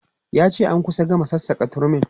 Ya ce an kusa gama sassaka turmin.